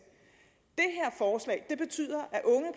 det betyder